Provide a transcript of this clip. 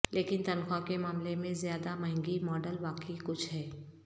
لیکن تنخواہ کے معاملے میں زیادہ مہنگی ماڈل واقعی کچھ ہے